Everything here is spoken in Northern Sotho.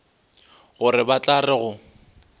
gore ba tla re go